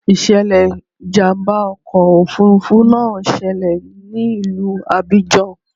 Ìṣẹ̀lẹ̀ ìjàmbá ọkọ̀ òfuurufú náà ṣẹlẹ̀ ní ìlú Abidjan.